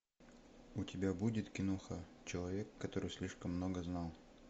у тебя будет киноха человек который слишком много знал